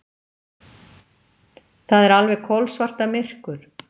Það er alveg kolsvartamyrkur!